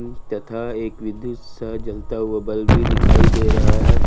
तथा एक विद्युत सा जलता हुआ बल्ब भी दिखाई दे रहा है।